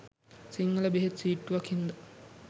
සිංහල බෙහෙත් සීට්ටුවක් හින්ද